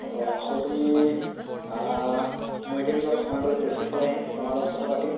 হয় so তুমি আ মই এদিন বাৰু সময় পালে তেজপুৰৰ ফালে আহিম তুমাৰ লগত কথা পাতিম